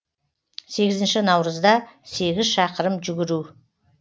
сегізінші наурызда сегіз шақырым жүгіру